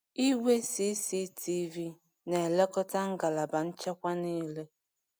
Igwe CCTV na-elekọta ngalaba nchekwa niile.